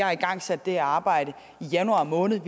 har igangsat det arbejde i januar måned og